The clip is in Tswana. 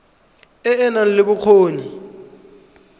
e e nang le bokgoni